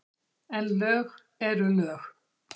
En lög eru lög.